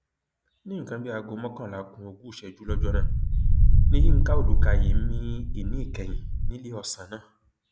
ní nǹkan bíi aago mọkànlá ku ogún ìṣẹjú lọjọ náà ni yinka ọdùkàyìn mi ìní ìkẹyìn níléeọsán náà